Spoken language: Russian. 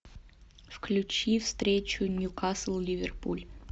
включи встречу ньюкасл ливерпуль